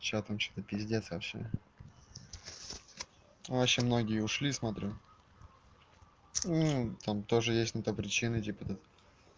что там это пиздец вообще вообще многие ушли смотрю там тоже есть на то причины тип этот